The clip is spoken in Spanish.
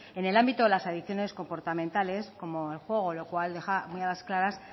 en el ámbito de las adicciones comportamentales como el juego lo cual deja muy a las claras